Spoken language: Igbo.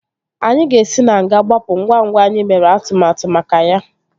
Anyị ga-esi na nga gbapụ ngwa ngwa anyị mere atụmatụ maka ya